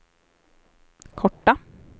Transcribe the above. korta